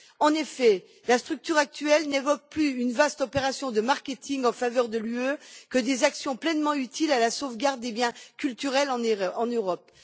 En effet, la structure actuelle m'évoque plus une vaste opération de marketing en faveur de l'Union européenne que des actions pleinement utiles à la sauvegarde des biens culturels en Europe.